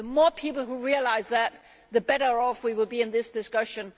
The more people realise that, the better off we will be in this discussion.